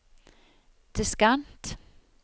diskant